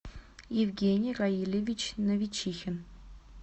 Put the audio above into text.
евгений раильевич новичихин